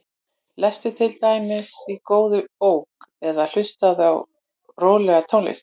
Lestu til dæmis í góðri bók eða hlustaðu á rólega tónlist.